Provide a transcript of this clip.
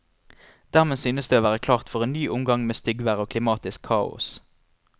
Dermed synes det å være klart for en ny omgang med styggvær og klimatisk kaos.